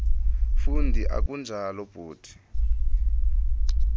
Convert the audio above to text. fundi akunjalo bhuti